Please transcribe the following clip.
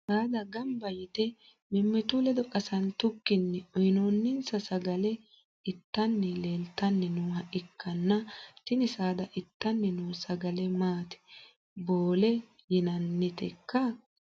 saada gamba yite mimmitu ledo qasantukkini uyiinooninsa sagale ittanni leeltanni nooha ikkanna, tini saada ittanni noo sagale maati? boole yinannitekka?